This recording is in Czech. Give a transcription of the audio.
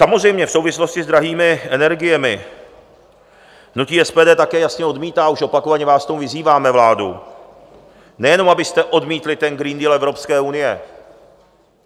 Samozřejmě v souvislosti s drahými energiemi hnutí SPD také jasně odmítá, už opakovaně vás k tomu vyzýváme, vládu, nejenom abyste odmítli ten Green Deal Evropské unie.